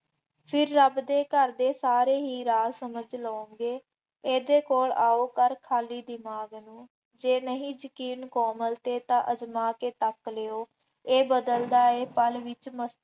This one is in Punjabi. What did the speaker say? ਫਿਰ ਰੱਬ ਦੇ ਘਰ ਦੇ ਸਾਰੇ ਹੀ ਰਾਜ ਸਮਝ ਲਉਗੇ, ਇਹਦੇ ਕੋਲ ਆਉ ਕਰ ਖਾਲੀ ਦਿਮਾਗ ਨੂੰ, ਜੇ ਨਹੀਂ ਯਕੀਨ ਕੋਮਲ ਤੇ ਤਾਂ ਅਜ਼ਮਾ ਕੇ ਤੱਕ ਲਿਉ, ਇਹ ਬਦਲਦਾ ਹੈ ਪਲ ਵਿੱਚ